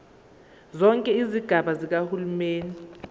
zonke izigaba zikahulumeni